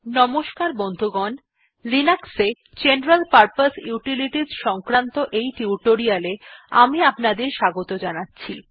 নমস্কার বন্ধুগণ লিনাক্সে জেনারেল পারপোজ ইউটিলিটিস সংক্রান্ত এই টিউটোরিয়ালটিতে আমি আপনাদের স্বাগত জানাচ্ছি